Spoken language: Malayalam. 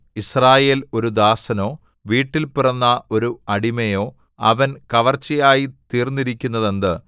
യിസ്രായേൽ ഒരു ദാസനോ വീട്ടിൽ പിറന്ന ഒരു അടിമയോ അവൻ കവർച്ചയായി തീർന്നിരിക്കുന്നതെന്ത്